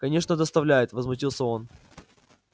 конечно доставляет возмутился он